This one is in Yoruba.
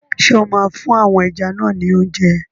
Ṣé o máa fún àwọn ẹja náà ni óúnjẹ?